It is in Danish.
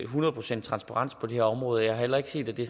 hundrede procent transparens på det her område og jeg har heller ikke set at det